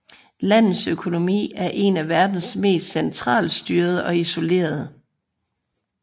Landets økonomi er en af verdens mest centralstyrede og isolerede